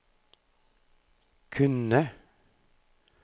kunne